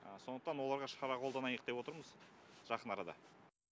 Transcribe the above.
сондықтан оларға шара қолданайық деп отырмыз жақын арада